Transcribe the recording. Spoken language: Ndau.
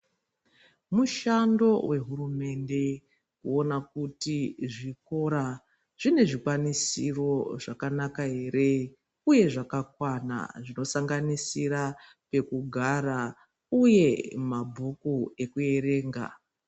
Mushando wehurumende kuona kuti zvikora zvine zvikwanisiro zvakanaka ere uye zvakakwana zvinosanganisira pekugara uye mabhuku kuerenga.